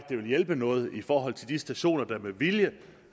det vil hjælpe noget i forhold til de stationer der med vilje